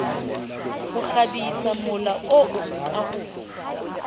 ho kgabisamola oo ka ho